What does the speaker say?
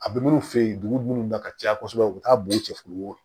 A bɛ minnu fɛ yen dugu minnu na ka caya kosɛbɛ u bɛ taa bɔn cɛfini ye